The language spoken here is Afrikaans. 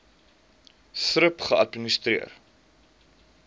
thrip geadministreer